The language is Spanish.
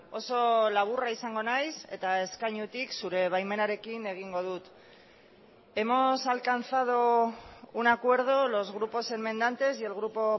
oso laburra izango naiz eta eskainutik zure baimenarekin egingo dut hemos alcanzado un acuerdo los grupos enmendantes y el grupo